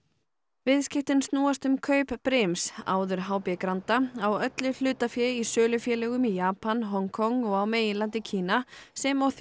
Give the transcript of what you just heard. viðskiptin snúast um kaup brims áður h b Granda á öllu hlutafé í sölufélögum í Japan Hong Kong og á meginlandi Kína sem og